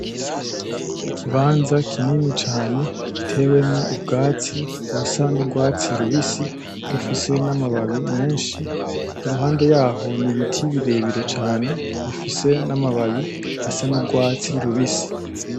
Ikibanza kinini cane gitewemwo ubwatsi busa n’urwatsi rubisi bufise N’amababi menshi iruhande yaho n’ibiti birebire cane bifise namababi asa n’urwatsi rubisi.